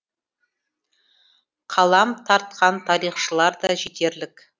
қалам тартқан тарихшылар да жетерлік